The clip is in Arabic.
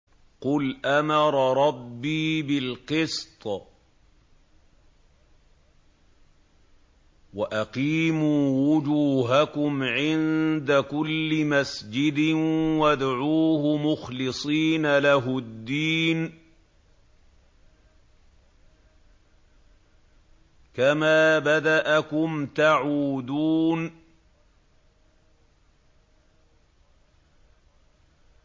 قُلْ أَمَرَ رَبِّي بِالْقِسْطِ ۖ وَأَقِيمُوا وُجُوهَكُمْ عِندَ كُلِّ مَسْجِدٍ وَادْعُوهُ مُخْلِصِينَ لَهُ الدِّينَ ۚ كَمَا بَدَأَكُمْ تَعُودُونَ